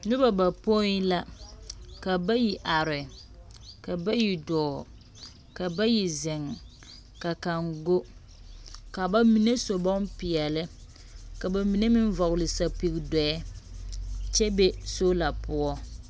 Noba bapoi la. Ka bayi are, ka bayi dɔɔ, ka bayi zeŋ, ka kaŋ go. Ka ba mine su bompeɛle, kaba mine vɔgle sapigi dɔɛ kyɛ be soola poɔ.